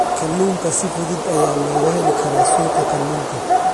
Kalluunka si fudud ayaa looga heli karaa suuqa kalluunka.